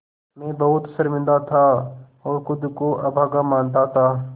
मैं बहुत शर्मिंदा था और ख़ुद को अभागा मानता था